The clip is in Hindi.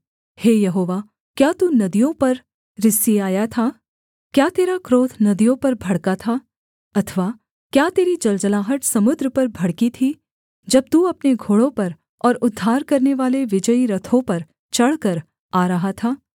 हे यहोवा क्या तू नदियों पर रिसियाया था क्या तेरा क्रोध नदियों पर भड़का था अथवा क्या तेरी जलजलाहट समुद्र पर भड़की थी जब तू अपने घोड़ों पर और उद्धार करनेवाले विजयी रथों पर चढ़कर आ रहा था